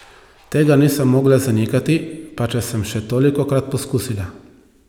Tega nisem mogla zanikati, pa če sem še tolikokrat poskusila.